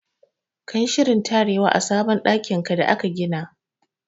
Ka yi shirin tarewa a sabon ɗakin da aka gina!